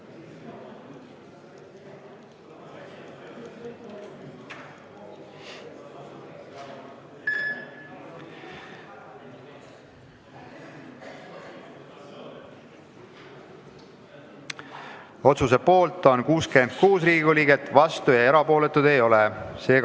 Hääletustulemused Otsuse poolt on 66 Riigikogu liiget, vastuolijaid ja erapooletuid ei ole.